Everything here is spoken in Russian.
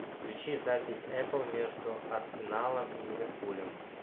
включи запись апл между арсеналом и ливерпулем